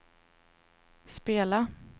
spela